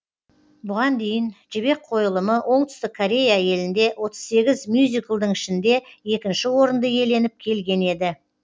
бұған дейін жібек қойылымы оңтүстік корея елінде отыз сегіз мюзиклдің ішінде екінші орынды иеленіп келген еді